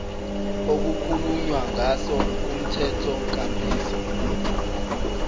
okukhulunywa ngaso kumthethonkambiso